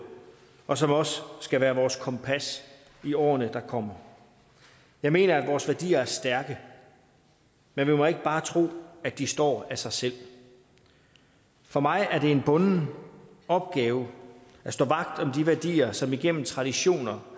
og som også skal være vores kompas i årene der kommer jeg mener at vores værdier er stærke men vi må ikke bare tro at de står af sig selv for mig er det en bunden opgave at stå vagt om de værdier som igennem traditioner